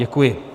Děkuji.